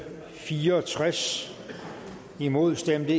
fire og tres imod stemte